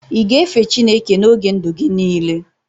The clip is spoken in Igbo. ị ga-efe Chineke n'oge ndụ gị niile?